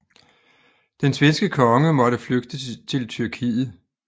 Den svenske konge måtte flygte til Tyrkiet